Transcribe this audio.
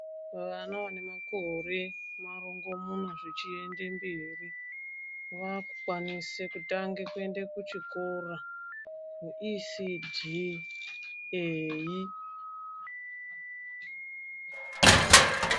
Vana vane makore marongomuna zvechiende mberi vakukwanise kutange kuenda kuchikora chepashi.